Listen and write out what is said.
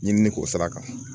Ɲinini k'o sira kan